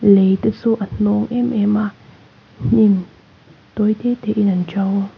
lei te chu a hnawng em em a hnim tawi te te in an to.